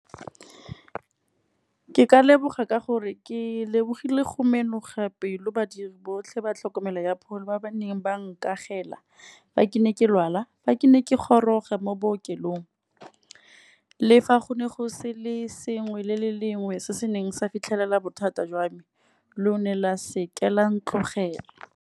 Ke ka leboga ka gore, ke lebogile go mena pelo badiri botlhe ba tlhokomelo ya pholo ba ba neng ba nkagela, fa ke ne ke lwala. Fa ke ne ke ke goroga mo bookelong, le fa go ne go se le sengwe le le lengwe se se neng sa fitlhelela bothata jwa me, lo ne la seke la ntlogela.